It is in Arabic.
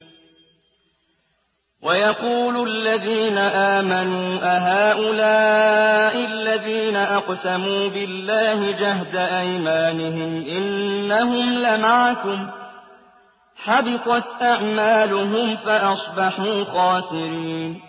وَيَقُولُ الَّذِينَ آمَنُوا أَهَٰؤُلَاءِ الَّذِينَ أَقْسَمُوا بِاللَّهِ جَهْدَ أَيْمَانِهِمْ ۙ إِنَّهُمْ لَمَعَكُمْ ۚ حَبِطَتْ أَعْمَالُهُمْ فَأَصْبَحُوا خَاسِرِينَ